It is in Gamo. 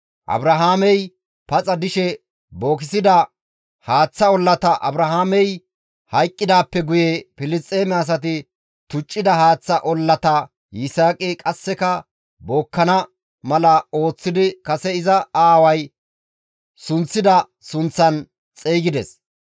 Abrahaamey paxa dishe bookissida haaththa ollata Abrahaamey hayqqidaappe guye Filisxeeme asay tuccida haaththa ollata Yisaaqi qasseka bookkana mala ooththidi kase iza aaway sunththida sunththaan xeygides.